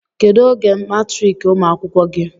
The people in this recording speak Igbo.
kedu oge matriki umuakwụkwọ gi